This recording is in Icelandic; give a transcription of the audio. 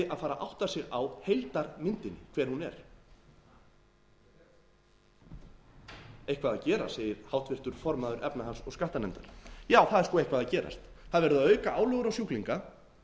að átta sig á heildarmyndinni hver hún er eitthvað að gerast segir háttvirtur formaður efnahags og skattanefndar já það er sko eitthvað að gerast það er verið að auka álögur á sjúklinga